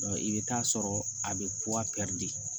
i bɛ taa sɔrɔ a bɛ de